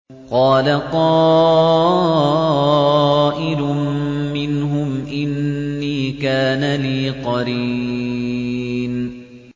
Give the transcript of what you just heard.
قَالَ قَائِلٌ مِّنْهُمْ إِنِّي كَانَ لِي قَرِينٌ